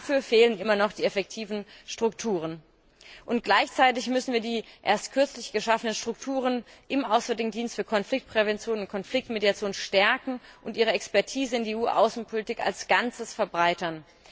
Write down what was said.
Dafür fehlen immer noch die effektiven Strukturen. Gleichzeitig müssen wir die erst kürzlich geschaffenen Strukturen im Auswärtigen Dienst für Konfliktprävention und Konfliktmediation stärken und ihre Expertise in die EU Außenpolitik als Ganzes verbreitern.